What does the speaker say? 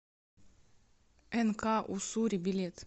нк уссури билет